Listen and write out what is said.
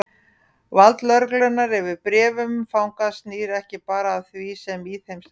Vald lögreglunnar yfir bréfum fanga snýr ekki bara að því sem í þeim stendur.